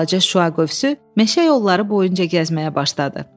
Balaca şüa qövsü meşə yolları boyunca gəzməyə başladı.